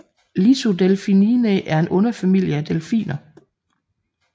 Lissodelphininae er en underfamilie af delfiner